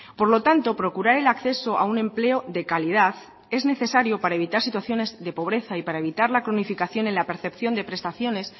por lo tanto procurar el acceso a un empleo de calidad es necesario para evitar situaciones de pobreza y para evitar la cronificación en la percepción de prestaciones